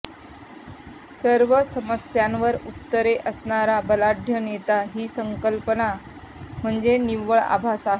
सर्व समस्यांवर उत्तरे असणारा बलाढ्य नेता ही संकल्पना म्हणजे निव्वळ आभास आहे